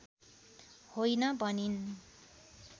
होइन भनिन्